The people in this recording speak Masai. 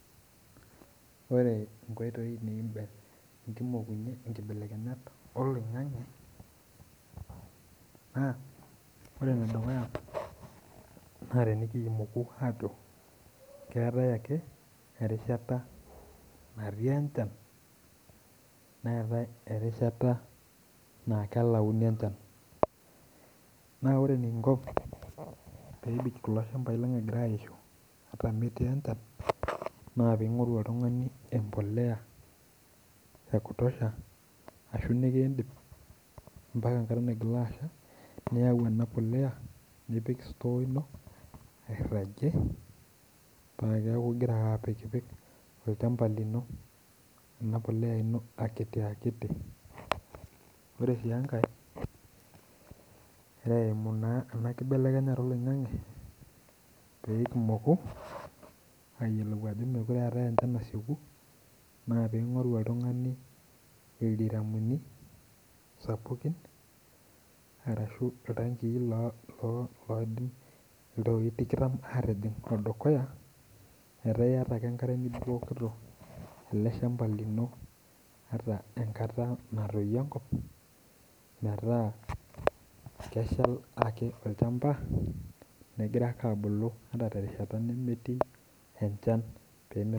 Ore nkoitoi nikindim nikimokunye nkibelekenyat eloing'ang'e naa ore en dukuya naa tenikimoku aaku keatae ake erishata natii enchan naa keatae erishata naa kelauni enchan. Naa ore enikinko peebik kulo ilshambai lang egira aishu ataa emetii enchan naa piing'oru oltungani empolea ekutosha ashu nikiindip impaka enkata naigilu asha, niyau ana polea nipik sutoo ino peaku igira ake aaku igira apikpik ilchamba lino ana polea ino akiti akiti. Ore sii enkae nikimoku naa ena enkibelekenyata eloing'ang'e peekimoku aajo mekore eatae enchan nasieku naa piing'oru oltungani ildiramuni sapukin arashu iltangi loidim iltoi tikitam aatijing' dukuya metaa ieta ake enkare nibukokito ale ilshamba lino ata enkata natoiyo enkop metaa kesha ake ilchamba, kegira ake abuku ata te enkata nemetii enchan.